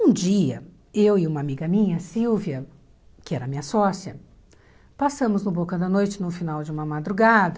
Um dia, eu e uma amiga minha, Silvia, que era minha sócia, passamos no Boca da Noite no final de uma madrugada.